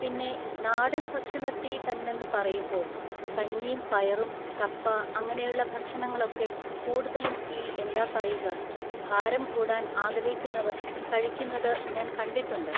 പിന്നെ നാടൻ ഭക്ഷണത്തീ തന്നെന്ന് പറയുമ്പോൾ കഞ്ഞീം പയറും കപ്പ അങ്ങനെയുള്ള ഭക്ഷണങ്ങളൊക്കെ കൂടുതലും ഈ എന്താ പറയുക ഭാരം കൂടാൻ ആഗ്രഹിക്കുന്നവർ കഴിക്കുന്നത് ഞാൻ കണ്ടിട്ടൊണ്ട്